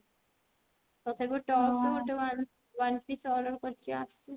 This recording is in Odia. ତଥାପି tops ଗୋଟେ one one piece order କରିଛି ଆସୁ